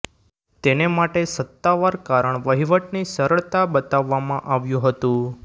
તેને માટે સત્તાવાર કારણ વહીવટની સરળતા બતાવવામાં આવ્યું હતું